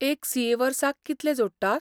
एक सी.ए. वर्साक कितले जोडटा?